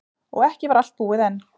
Og ekki var allt búið enn.